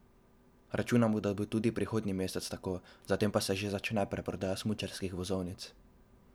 Računamo, da bo tudi prihodnji mesec tako, zatem pa se že začne predprodaja smučarskih vozovnic.